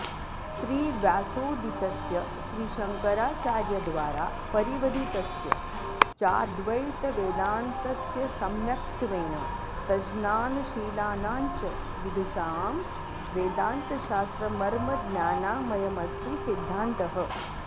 श्रीव्यासोदितस्य श्रीशङ्कराचार्यद्वारा परिवधितस्य चाऽद्वैतवेदान्तस्य सम्य क्त्वेन तज्ज्ञानशीलानाञ्च विदुषां वेदान्तशास्त्रमर्मज्ञानामयमस्ति सिद्धान्तः